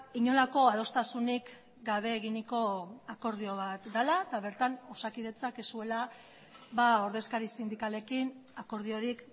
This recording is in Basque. inolako adostasunik gabe eginiko akordio bat dela eta bertan osakidetzak ez zuela ordezkari sindikalekin akordiorik